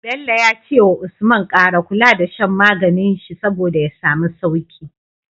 Bello yace wa usman kara kula da shan maganin shi saboda ya samu sauki